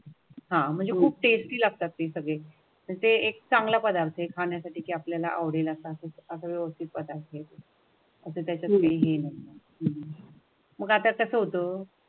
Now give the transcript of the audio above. आह म्हणजे कुप टेस्टी लागतात ते सगळे. जे एक चांगला पदार्थ खाण्यासाठी आपल्याला आवडेल असा आग्रह अस्तित्वात आहे त्याच्यामुळे. मग आता कसं होतं?